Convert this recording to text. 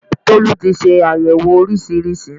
Tolú ti se àyẹ̀wò oríṣiríṣi